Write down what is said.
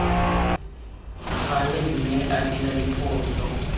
gale mme a dira diphoso